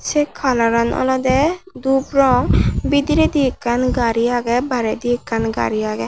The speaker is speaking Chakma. sey coloran olodey dup rong bidiredi ekkan gari aagey bare di ekkan gari aagey.